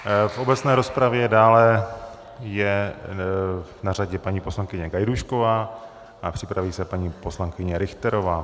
V obecné rozpravě dále je na řadě paní poslankyně Gajdůšková a připraví se paní poslankyně Richterová.